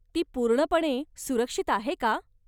ती पूर्णपणे सुरक्षित आहे का?